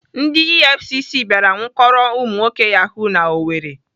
Ndị EFCC bịara nwụkọrọ ụmụnwoke Yahoo n'Owerri.